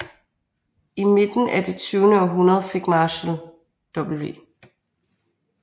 I midten af det tyvende århundrede fik Marshall W